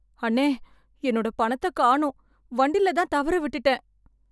அண்ணே, என்னோட பணத்த காணோம், வண்டில தான் தவற விட்டுட்டேன்.